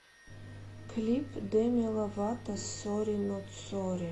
клип деми ловато сорри нот сорри